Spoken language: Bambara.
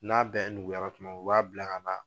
N'a bɛɛ nuguyara tuma min, u b'a bila ka taa